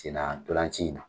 Sen na ntolan ci in na.